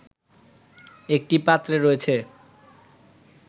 একটি পাত্রে রয়েছে